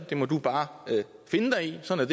det må du bare finde dig i sådan